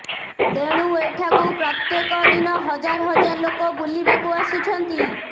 ତେଣୁ ଏଠାକୁ ପ୍ରତ୍ୟେକ ଦିନ ହଜାର ହଜାର ଲୋକ ବୁଲିବାକୁ ଆସୁଛନ୍ତି